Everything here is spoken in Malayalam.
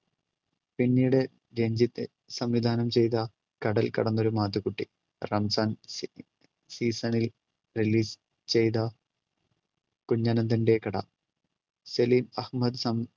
പിന്നീട് രഞ്ജിത്ത് സംവിധാനം ചെയ്ത കടൽ കടന്നൊരു മാത്തുക്കുട്ടി റംസാൻ സീ~ season ൽ release ചെയ്ത കുഞ്ഞ് അനന്തന്റെ കട സെലീൻ അഹമ്മദ് സം